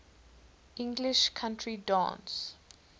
english country dance